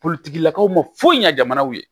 Politigilakaw ma foyi ɲɛ jamanaw ye